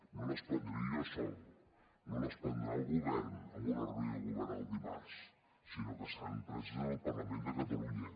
no les prendré jo sol no les prendrà el govern en una reunió de govern el dimarts sinó que seran preses al parlament de catalunya